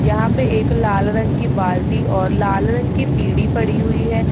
यहां पर एक लाल रंग की बाल्टी और लाल रंग की पीढ़ी पड़ी हुई है।